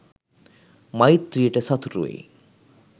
මෛත්‍රියට සතුරු වෙයි.